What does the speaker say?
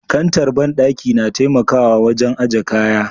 Kantar bandaki na taimakawa wajen aje kaya.